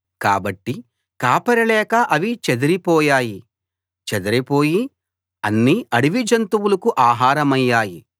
కాబట్టి కాపరి లేక అవి చెదరిపోయాయి చెదరిపోయి అన్ని అడవి జంతువులకు ఆహారమయ్యాయి